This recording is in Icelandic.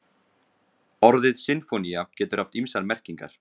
Orðið sinfónía getur haft ýmsar merkingar.